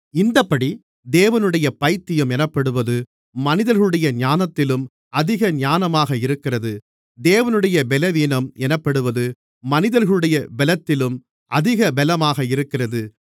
இந்தப்படி தேவனுடைய பைத்தியம் எனப்படுவது மனிதர்களுடைய ஞானத்திலும் அதிக ஞானமாக இருக்கிறது தேவனுடைய பலவீனம் எனப்படுவது மனிதர்களுடைய பலத்திலும் அதிக பலமாக இருக்கிறது